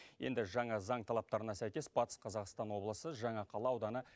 енді жаңа заң талаптарына сәйкес батыс қазақстан облысы жаңақала ауданы